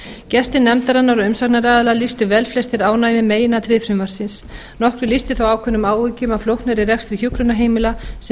gestir nefndarinnar og umsagnaraðilar lýstu velflestir ánægju með meginatriði frumvarpsins nokkrir lýstu þó ákveðnum áhyggjum af flóknari rekstri hjúkrunarheimila sem